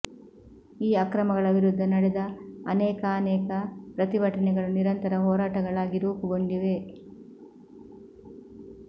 ಈ ಅಕ್ರಮಗಳ ವಿರುದ್ಧ ನಡೆದ ಅನೇಕಾನೇಕ ಪ್ರತಿಭಟನೆಗಳು ನಿರಂತರ ಹೋರಾಟಗಳಾಗಿ ರೂಪುಗೊಂಡಿವೆ